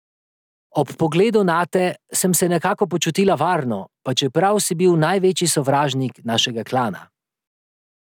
Ob pogledu nate sem se nekako počutila varno, pa čeprav si bil največji sovražnik našega klana.